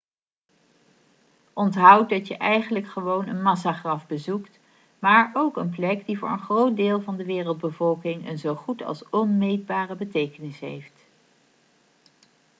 onthoud dat je eigenlijk gewoon een massagraf bezoekt maar ook een plek die voor een groot deel van de wereldbevolking een zo goed als onmeetbare betekenis heeft